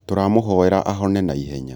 tũramũhoera ahone naihenya